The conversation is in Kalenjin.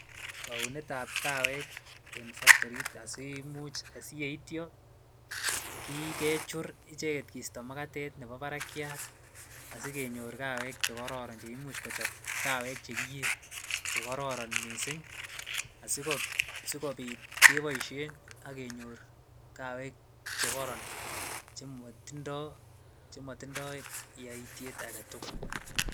Kounetab kawek en factorit asimuch asiyeityo kechur icheket kisto makatet nebo barakiat asikenyor kawek chekororon cheimuch kochob kawek chekiyee chekororon mising asikobit keboishen ak kenyor kawek chekoron chemotindo yoityet aketukul.